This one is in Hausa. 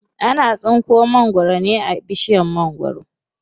Ana tsinko mangwaro ne a bishiyar mangwaro.